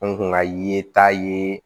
An kun ka ye taa ye